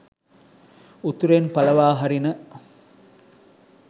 උතුරෙන් පලවා හරින